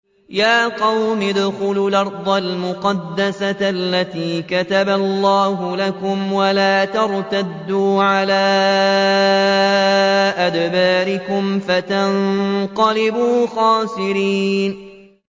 يَا قَوْمِ ادْخُلُوا الْأَرْضَ الْمُقَدَّسَةَ الَّتِي كَتَبَ اللَّهُ لَكُمْ وَلَا تَرْتَدُّوا عَلَىٰ أَدْبَارِكُمْ فَتَنقَلِبُوا خَاسِرِينَ